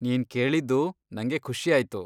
ನೀನ್ ಕೇಳಿದ್ದು ನಂಗೆ ಖುಷಿಯಾಯ್ತು.